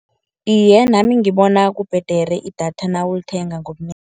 Iye, nami ngibona kubhedere idatha nawulithenga